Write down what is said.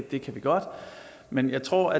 det kan vi godt men jeg tror